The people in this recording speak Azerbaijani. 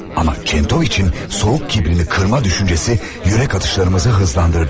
Amma Çentoviçin soyuq kibrini qırma düşüncəsi ürək atışlarımızı hızlandırdı.